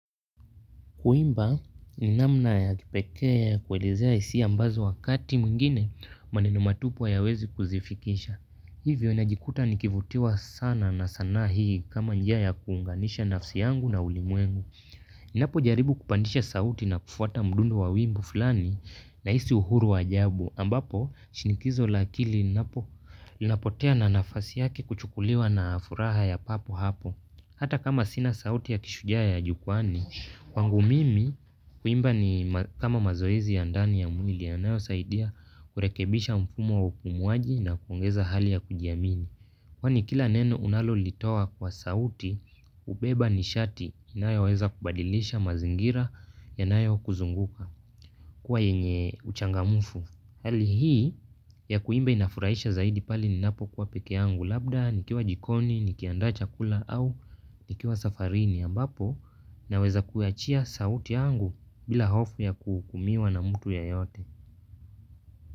Kuimba, ni namna ya kipekea ya kuwelezea hisia ambazo wakati mwingine maneno matupu hayawezi kuzifikisha. Hivyo najikuta nikivutiwa sana na sana hii kama njia ya kuunganisha nafsi yangu na ulimwengu. Ninapojaribu kupandisha sauti na kufuata mdundo wa wimbo fulani nahisi uhuru wa ajabu. Ambapo, shinikizo la akili inapopotea na nafasi yaki kuchukuliwa na furaha ya papo hapo. Hata kama sina sauti ya kishujaa ya jukwani, kwangu mimi kuimba ni kama mazoezi ya ndani ya mwili yanayo saidia kurekebisha mfumo wa upumuaji na kuongeza hali ya kujiamini. Kwa ni kila neno unalolitoa kwa sauti, ubeba ni shati inayoweza kubadilisha mazingira yanayo kuzunguka kuwa yenye uchangamfu. Hali hii ya kuimba inafuraisha zaidi pali ninapo kwa peke yangu labda, nikiwa jikoni, nikianda chakula au nikiwa safarini ambapo naweza kuachia sauti yangu bila hofu ya kuhukumiwa na mtu yeyote.